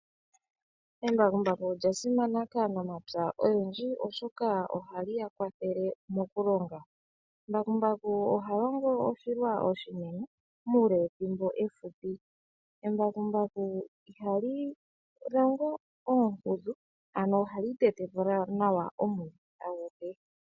Embakumbaku olya simana kanafalama oyendji oshoka ohali ya kwathele mokulonga. Mbakumbaku oha longo oshilwanene muule wethimbo efupi. Embakumbaku ihali longo oonkudhu ano ohali tete po nawa oonkudhu adhihe.